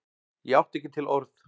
Ég átti ekki til orð.